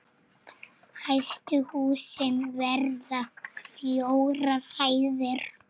Hæstu húsin verða fjórar hæðir.